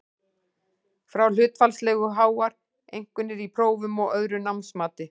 Fá hlutfallslega háar einkunnir í prófum og öðru námsmati.